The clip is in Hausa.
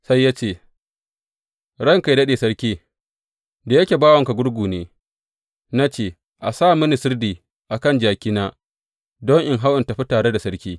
Sai ya ce, Ranka yă daɗe sarki, da yake bawanka gurgu ne, na ce, A sa mini sirdi a kan jakina don in hau in tafi tare da sarki.’